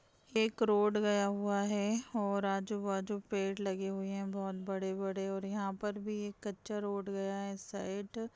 एक रोड गया हुआ है आजू बाजू पेड़ लगे हुए है बहुत बड़े बड़े और यहाँ पर भी कच्चा रोड है इस साइड --